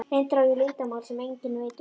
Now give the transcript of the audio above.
Reyndar á ég leyndarmál sem enginn veit um.